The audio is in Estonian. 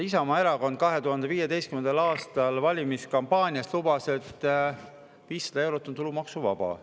Isamaa Erakond 2015. aastal valimiskampaanias lubas, et 500 eurot on tulumaksuvaba.